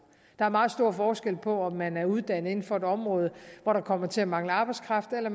der er meget stor forskel på om man er uddannet inden for et område hvor der kommer til at mangle arbejdskraft eller